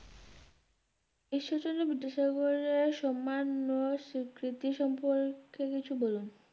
ঈশ্বরচন্দ্র বিদ্যাসাগর এর সম্মান স্বীকৃতি সম্পর্কে কিছু বলুন।